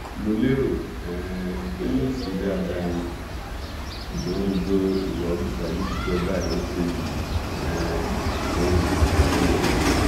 mo lérò um pé yóò ṣe dáadáa ni ṣùgbọn gbogbo ìwà ojúsàájú tí ìjọba ẹ ń ṣe yìí um ohun ìyàlẹnu ni